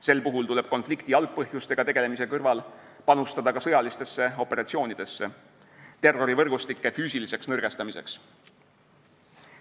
Sel puhul tuleb konflikti algpõhjustega tegelemise kõrval panustada ka sõjalistesse operatsioonidesse terrorivõrgustike füüsiliseks nõrgestamiseks.